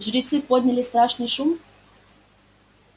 жрецы подняли страшный шум